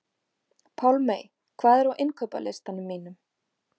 Pálmey, hvað er á innkaupalistanum mínum?